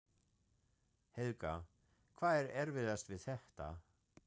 Helga: Hvað er erfiðast við þetta?